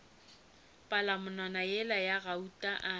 palamonwana yela ya gauta a